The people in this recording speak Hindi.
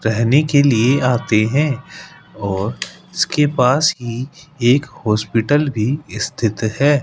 रहने के लिए आते हैं और उसके पास ही एक हॉस्पिटल भी स्थित है।